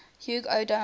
hugh o donel